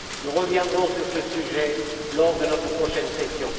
Nous reviendrons sur ce sujet lors de notre prochaine session.